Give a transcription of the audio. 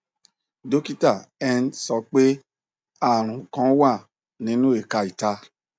dokita ent sọ pe arun kan wa ninu ẹka ita